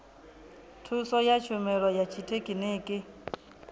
thuso ya tshumelo ya tshithekhiniki